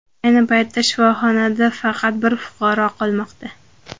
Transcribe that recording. Ayni paytda shifohonada faqat bir fuqaro qolmoqda.